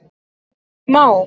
Það má!